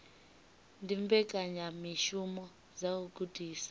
ndi mbekanyamishumo dza u gudisa